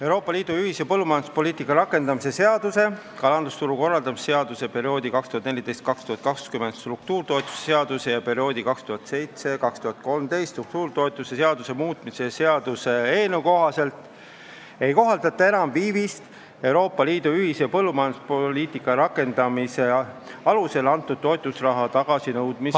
Euroopa Liidu ühise põllumajanduspoliitika rakendamise seaduse, kalandusturu korraldamise seaduse, perioodi 2014–2020 struktuuritoetuse seaduse ja perioodi 2007–2013 struktuuritoetuse seaduse muutmise seaduse eelnõu kohaselt ei kohaldata enam viivist Euroopa Liidu ühise põllumajanduspoliitika rakendamise seaduse alusel antud toetusraha tagasinõudmise ...